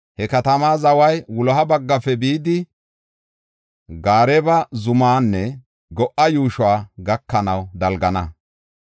He katamaa zaway wuloha baggafe bidi Gaareba zumanne Go7a yuushuwa gakanaw dalgana.